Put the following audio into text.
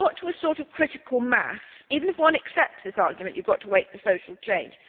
We have got to a sort of critical mass, even if one accepts this argument that you have to wait for social change.